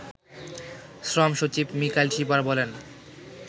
শ্রমসচিব মিকাইল শিপার বলেন